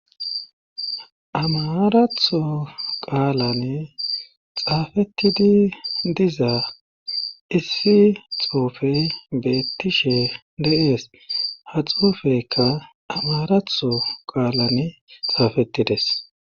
Amaratho qaalan xaafettidi dizaa issi xoufe beettishe deees ha xuufekka amaratho qaalan xaafetides.